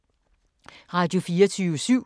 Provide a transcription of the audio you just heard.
Radio24syv